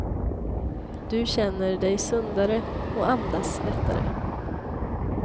Du känner dig sundare och andas lättare.